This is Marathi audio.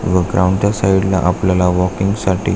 व ग्राउंड च्या साइड ला आपल्याला वॉकिंग साठी--